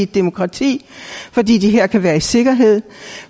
demokrati fordi de her kan være i sikkerhed